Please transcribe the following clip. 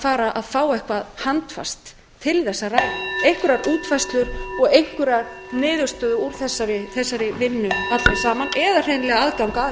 fara að fá eitthvað handfast til þess að ræða einhverjar útfærslur og einhverja niðurstöðu úr þessari vinnu allri saman eða hreinlega aðgang að henni